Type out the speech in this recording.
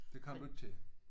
Det kom du ikke til?